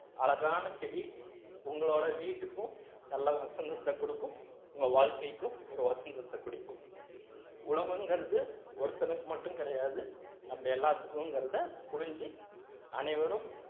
அழகான செடி உங்களோட வீட்டுக்கும் நல்ல வசந்தத்தைக் கொடுக்கும் உங்க வாழ்க்கைக்கும் ஒரு வசந்தத்தைக் கொடுக்கும் உழவுங்கிறது ஒருத்தனுக்கு மட்டும் கிடையாது நம்ம எல்லாத்துக்கும்ங்கிறதை புரிஞ்சு அனைவரும்